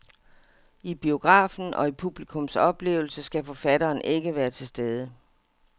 I biografen, og i publikums oplevelse, skal forfatteren ikke være til stede.